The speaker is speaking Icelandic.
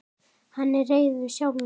Hann er reiður sjálfum sér.